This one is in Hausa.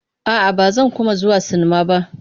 A'a, ba zan kuma zuwa sinmma ba.